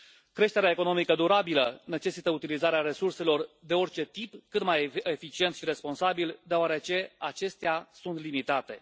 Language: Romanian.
Creșterea economică durabilă necesită utilizarea resurselor de orice tip, cât mai eficient și responsabil, deoarece acestea sunt limitate.